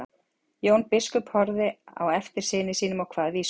Jón biskup horfði á eftir syni sínum og kvað vísu